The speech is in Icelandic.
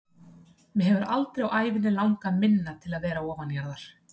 Mig hefur aldrei á ævinni langað minna til að vera ofanjarðar.